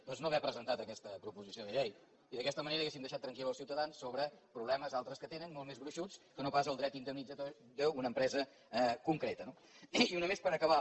doncs no haver presentat aquesta proposició de llei i d’aquesta manera hauríem deixat tranquils els ciutadans sobre problemes altres que tenen molt més gruixuts que no pas el dret indemnitzatori d’una empresa concreta no i una més per acabar